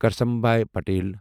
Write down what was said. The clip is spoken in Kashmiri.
کرسنبھای پٹیل